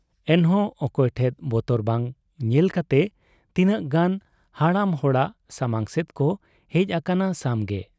ᱮᱱᱦᱚᱸ ᱚᱠᱚᱭ ᱴᱷᱮᱫ ᱵᱚᱛᱚᱨ ᱵᱟᱝ ᱧᱮᱞ ᱠᱟᱛᱮ ᱛᱤᱱᱟᱹᱜ ᱜᱟᱱ ᱦᱟᱲᱟᱢ ᱦᱚᱲ ᱥᱟᱢᱟᱝ ᱥᱮᱫ ᱠᱚ ᱦᱮᱡ ᱟᱠᱟᱱᱟ ᱥᱟᱢᱜᱮᱜ ᱾